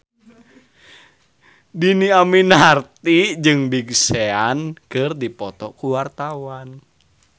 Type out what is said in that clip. Dhini Aminarti jeung Big Sean keur dipoto ku wartawan